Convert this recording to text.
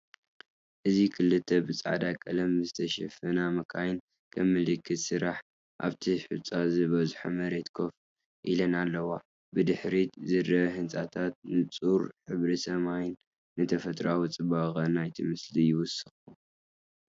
እዚ ክልተ ብጻዕዳ ቀለም ዝተሸፈና መካይን ከም ምልክት ስራሕ ኣብቲ ሑጻ ዝበዝሖ መሬት ኮፍ ኢለን ኣለዋ። ብድሕሪት ዝረኣዩ ህንጻታትን ንጹር ሕብሪ ሰማይን ንተፈጥሮኣዊ ጽባቐ ናይቲ ምስሊ ይውስኹ።